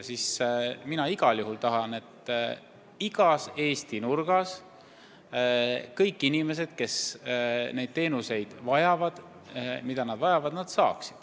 Mina igal juhul tahan, et igas Eesti nurgas saaksid kõik inimesed teenuseid, mida nad vajavad.